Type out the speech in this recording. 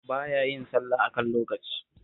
Ba ya yin sallah a kan lokaci